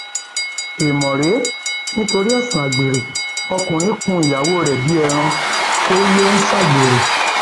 èèmọ rèé nítorí ẹsùn àgbèrè ọkùnrin kún ìyàwó rẹ bíi ẹran ó lọ ń ṣàgbèrè